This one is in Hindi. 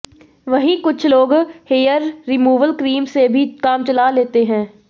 वहीं कुछ लोग हेयर रिमूअल क्रीम से भी काम चला लेते हैं